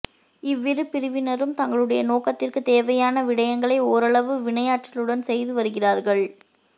இவ்விரு பிரிவினரும் தங்களுடைய நோக்கத்திற்குத் தேவையான விடையங்களை ஓரளவு வினையாற்றலுடன் செய்து வருகிறார்கள்